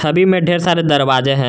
छवि में ढेर सारे दरवाजे हैं।